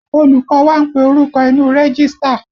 Olùkọ́ wá ń pe orúkọ inu rẹ́gístà